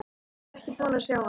Hann var ekki búinn að sjá hana.